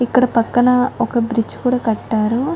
ఇక్కడ పక్కన ఒక బ్రిడ్జి కూడా కట్టారు --